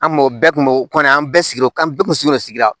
An mɔgɔ bɛɛ kun bɛ o kɔni an bɛɛ sigilen don an bɛɛ kun sigiyɔrɔ sigida